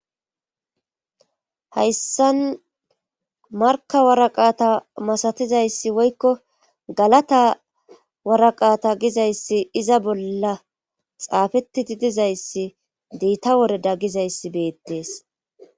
Hayssan marka waraqata masatizayssi woykko galata waraqata gizayssi iza bolla xaafetiti dizayssi deitta wore da gizayssi beettees